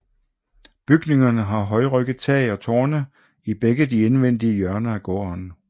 Bygningerne har højrygget tag og tårne i begge de indvendige hjørner af gården